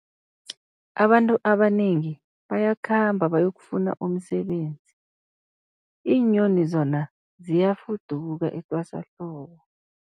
Abantu abanengi bayakhamba bayokufuna umsebenzi, iinyoni zona ziyafuduka etwasahlobo.